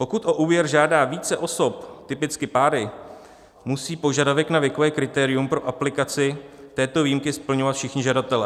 Pokud o úvěr žádá více osob, typicky páry, musí požadavek na věkové kritérium pro aplikaci této výjimky splňovat všichni žadatelé.